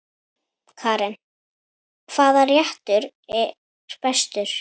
Karen: Hvaða réttur er bestur?